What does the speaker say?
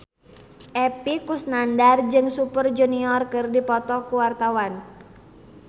Epy Kusnandar jeung Super Junior keur dipoto ku wartawan